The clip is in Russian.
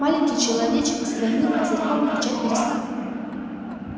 маленький человечек с двойным козырьком кричать перестал